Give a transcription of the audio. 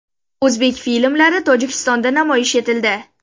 O‘zbek filmlari Tojikistonda namoyish etildi.